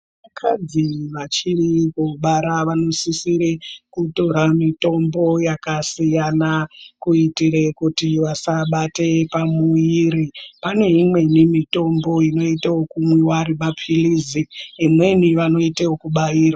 Vakadzi vachiri kubara vanosisire kutora mitombo yakasiyana kuitire kuti vasabate pamuviri. Pane imweni mitombo inota yekumwiwa ari mapilizi, imweni vanoita yekubairwa.